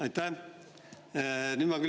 Aitäh!